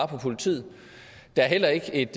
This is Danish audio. på politiet der er heller ikke et